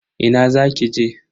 Ina za ki je?